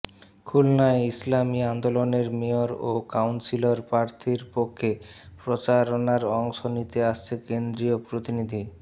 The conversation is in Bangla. খুলনায় ইসলামী আন্দোলনের মেয়র ও কাউন্সিলর প্রার্থীর পক্ষে প্রচারনায় অংশ নিতে আসছে কেন্দ্রীয় প্রতিনিধি